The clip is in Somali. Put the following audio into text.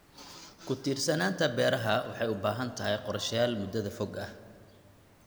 Ku tiirsanaanta beeraha waxay u baahan tahay qorshayaal muddada fog ah.